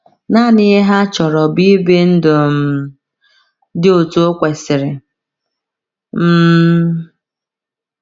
Nanị ihe ha chọrọ bụ ibi ndụ um dị otú o kwesịrị. um